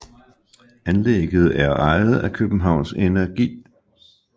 Anlægget er ejet af Københavns Energi